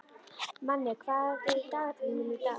Manni, hvað er í dagatalinu mínu í dag?